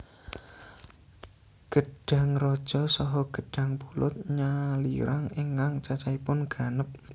Gedhang raja saha gedhang pulut nyalirang ingkang cacahipun ganep